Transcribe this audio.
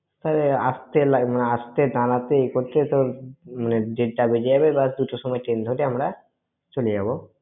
ওই আস্তে, আস্তে, দাঁড়াতে এই করতেই তোর দেরটা বেজে যাবে, এবার দুটোর সময় train ধরে আমরা চলে যাব।